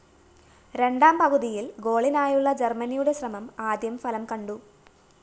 രണ്ടാം പകുതിയിൽ ഗോളിനായുള്ള ജർമനിയുടെ ശ്രമം ആദ്യം ഫലം കണ്ടു